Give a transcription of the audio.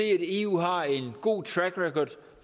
eu har en god track record